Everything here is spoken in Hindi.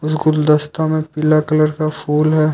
इस गुलदस्ता में पीला कलर का फूल है।